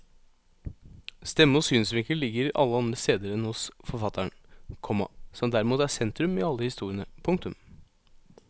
Stemme og synsvinkel ligger alle andre steder enn hos forfatteren, komma som derimot er sentrum i alle historiene. punktum